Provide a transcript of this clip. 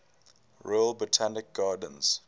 royal botanic gardens